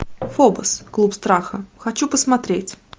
фобос клуб страха хочу посмотреть